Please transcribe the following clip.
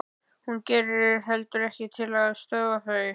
Hún gerir heldur ekkert til að stöðva þau.